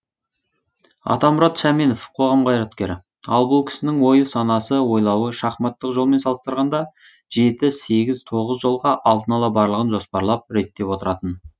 атамұрат шаменов қоғам қайраткері ал бұл кісінің ойы санасы ойлауы шахматтық жолмен салыстырғанда жеті сегіз тоғыз жолға алдын ала барлығын жоспарлап реттеп отыратын